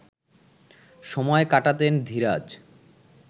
সময় কাটাতেন ধীরাজ